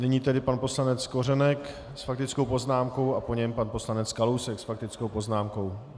Nyní tedy pan poslanec Kořenek s faktickou poznámkou a po něm pan poslanec Kalousek s faktickou poznámkou.